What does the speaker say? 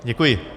Děkuji.